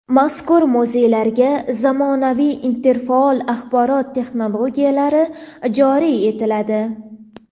Mazkur muzeylarga zamonaviy interfaol axborot-texnologiyalari joriy etiladi.